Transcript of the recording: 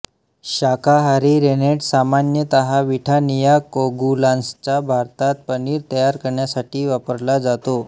शाकाहारी रेनेट सामान्यत विठानिया कोगुलान्सचा भारतात पनीर तयार करण्यासाठी वापरला जातो